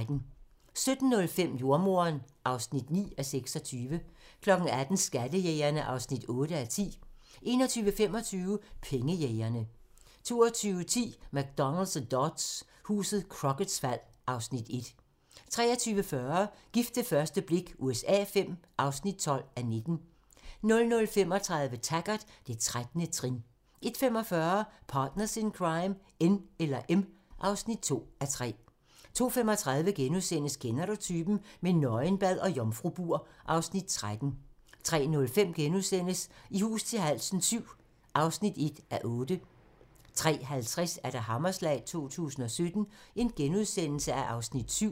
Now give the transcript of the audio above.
17:05: Jordemoderen (9:26) 18:00: Skattejægerne (8:10) 21:25: Pengejægerne 22:10: McDonald og Dodds: Huset Crocketts fald (Afs. 1) 23:40: Gift ved første blik USA V (12:19) 00:35: Taggart: Det 13. trin 01:45: Partners in Crime: N eller M (2:3) 02:35: Kender du typen? - med nøgenbad og jomfrubur (Afs. 13)* 03:05: I hus til halsen VII (1:8)* 03:50: Hammerslag 2017 (Afs. 7)*